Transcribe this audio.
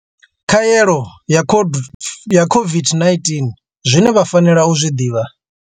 Khaelo ya COVID-19 zwine vha fanela u zwi ḓivha.